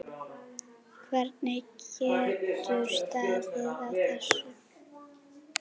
Hvernig getur staðið á þessu.